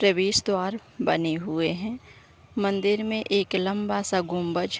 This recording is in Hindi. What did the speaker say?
प्रवेश द्वार बने हुए हैं मंदिर में एक लंबा-सा गुम्बज --